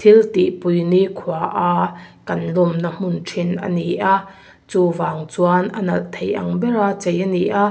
thil tih pui nikhua a kan lawm na hmun thin a ni a chuvang chuan a nalh thei ang bera chei a ni a.